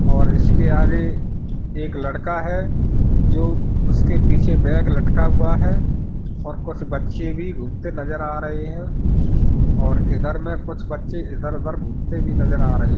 और इसके आगे एक लड़का है जो उसके पीछे बैग लटका हुआ है और कुछ बच्चे भी घूमते नजर आ रहे हैं और इधर में कुछ बच्चे इधर-उधर घूमते भी नजर आ रहे हैं।